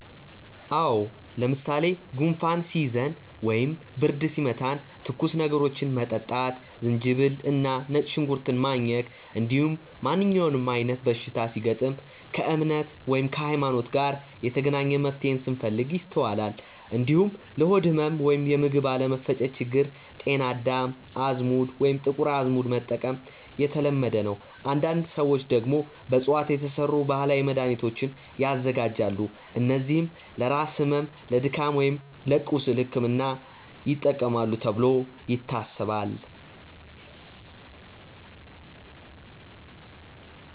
አዎ። ለምሳሌ ጉንፋን ሲይዘን ወይም ብርድ ሲመታን ትኩስ ነገሮችን መጠጣት፣ ዝንጅብል እና ነጭ ሽንኩርት ማኘክ፣ እንዲሁም ማንኛውም አይነት በሽታ ሲገጥም ከእምነት (ሀይማኖት) ጋር የተገናኘ መፍትሄን ስንፈልግ ይስተዋላል። እንዲሁም ለሆድ ህመም ወይም የምግብ አለመፈጨት ችግር ጤና አዳም፣ አዝሙድ ወይም ጥቁር አዝሙድ መጠቀም የተለመደ ነው። አንዳንድ ሰዎች ደግሞ በእፅዋት የተሰሩ ባህላዊ መድሃኒቶችን ያዘጋጃሉ፣ እነዚህም ለራስ ህመም፣ ለድካም ወይም ለቁስል ሕክምና ይጠቅማሉ ተብሎ ይታሰባል።